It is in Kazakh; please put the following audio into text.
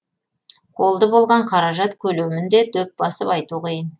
қолды болған қаражат көлемін де дөп басып айту қиын